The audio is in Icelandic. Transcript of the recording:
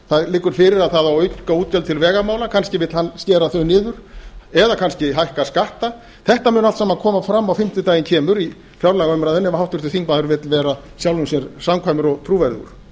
það liggur fyrir að það á að auka útgjöld til vegamála kannski vill hann skera þau niður eða kannski hækka skatta þetta mun allt saman koma fram á fimmtudaginn kemur í fjárlagaumræðunni ef háttvirtur þingmaður vill vera sjálfum sér samkvæmur og trúverðugur